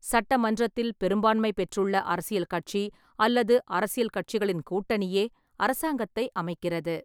சட்டமன்றத்தில் பெரும்பான்மை பெற்றுள்ள அரசியல் கட்சி அல்லது அரசியல் கட்சிகளின் கூட்டணியே அரசாங்கத்தை அமைக்கிறது.